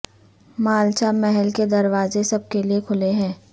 مالچا محل کے دروازے سب کے لیے کھلے ہیں